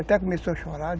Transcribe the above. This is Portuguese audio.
Até começou a chorar.